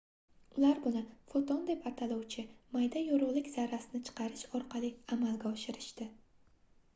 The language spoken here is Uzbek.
ular buni foton deb ataluvchi mayda yorugʻlik zarrasini chiqarish orqali amalga oshirishdi